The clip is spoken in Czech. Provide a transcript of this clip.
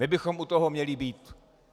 My bychom u toho měli být.